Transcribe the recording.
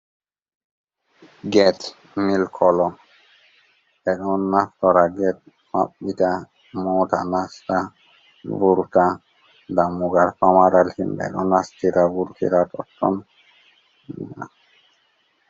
Get mil kolo ɓeɗo naftora get mabbita moota nasta vurta ɗammugal famaral himɓe don nastira vurtira totton.